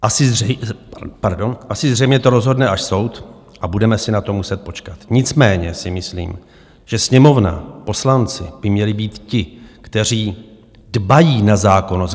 Asi zřejmě to rozhodne až soud a budeme si na to muset počkat, nicméně si myslím, že Sněmovna, poslanci by měli být ti, kteří dbají na zákonnost.